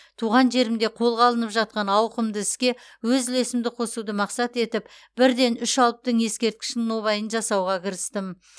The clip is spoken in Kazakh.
туған жерімде қолға алынып жатқан ауқымды іске өз үлесімді қосуды мақсат етіп бірден үш алыптың ескерткішінің нобайын жасауға кірістім